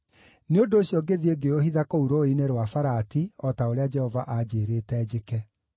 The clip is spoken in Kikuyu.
Nĩ ũndũ ũcio ngĩthiĩ ngĩũhitha kũu Rũũĩ-inĩ rwa Farati, o ta ũrĩa Jehova anjĩĩrĩte njĩke.